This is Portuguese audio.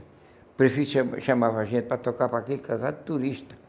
O prefeito cha chamava a gente para tocar para aquele casal de turistas.